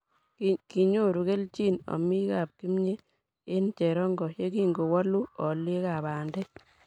kinyoru kelchin omikab kimnye eng cherongo yekingowoolu olyekab bandek